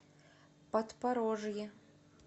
подпорожье